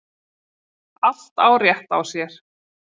Allt á rétt á sér.